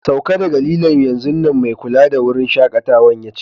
Sauka daga lilon'yanzun nan, mai kulawa da wurin shakatawan ya ce.